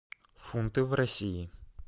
фунты в россии